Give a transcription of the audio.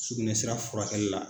Sugunɛ sira furakɛli la.